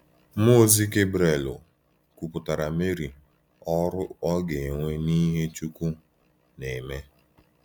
Mụọ ozi Gabrielu kwuputara Meri ọrụ ọ ga-enwe n’ihe Chukwu na-eme.